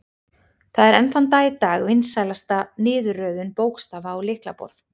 Það er enn þann dag í dag vinsælasta niðurröðun bókstafa á lyklaborð.